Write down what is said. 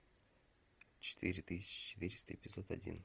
четыре тысячи четыреста эпизод один